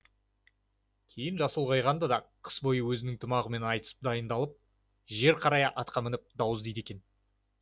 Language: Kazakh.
кейін жасы ұлғайғанда да қыс бойы өзінің тұмағымен айтысып дайындалып жер қарая атқа мініп дау іздейді екен